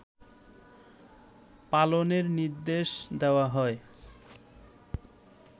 পালনের নির্দেশ দেয়া হয়